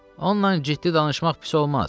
Onla ciddi danışmaq pis olmaz.